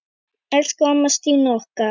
Elsku amma Stína okkar.